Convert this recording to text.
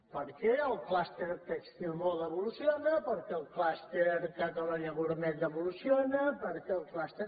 per què el clúster tèxtil·moda evoluciona per què el clúster catalonia gourmet evoluciona per què el clúster